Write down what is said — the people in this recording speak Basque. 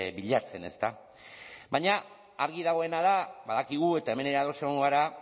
bilatzen ezta baina argi dagoena da badakigu eta hemen ere ados egongo gara